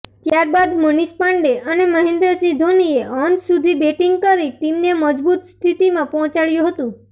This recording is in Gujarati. ત્યારબાદ મનિષ પાંડે અને મહેન્દ્રસિંહ ધોનીએ અંત સુધી બેટિંગ કરી ટીમને મજબૂત સ્થિતિમાં પહોચાડ્યુ હતું